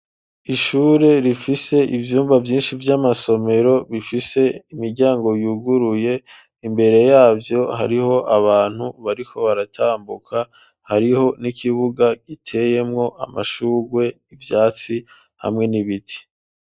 Ishure rifise ivyumba vyinshi vy'amasomero, bifise imiryango yuguruye, imbere yavyo hariho abantu bariko baratambuka, hariho n'ikibuga giteyemwo amashurwe, ivyatsi, hamwe n'ibiti.